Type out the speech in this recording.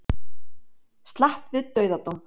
Slapp við dauðadóm